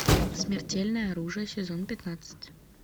смертельное оружие сезон пятнадцать